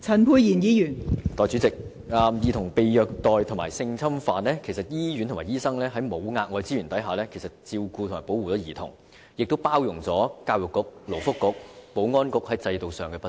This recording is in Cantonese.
代理主席，關於兒童被虐待和性侵犯的問題，醫院和醫生已在沒有額外資源的情況下為兒童提供照顧和保護，因而包容了教育局、勞工及福利局和保安局在制度上的不足。